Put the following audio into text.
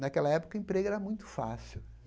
Naquela época, emprego era muito fácil.